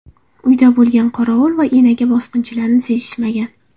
Uyda bo‘lgan qorovul va enaga bosqinchilarni sezishmagan.